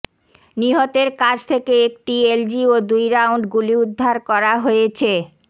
নিহতের কাছ থেকে একটি এলজি ও দুই রাউন্ড গুলি উদ্ধার করা হয়েছে